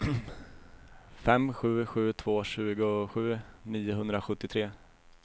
fem sju sju två tjugosju niohundrasjuttiotre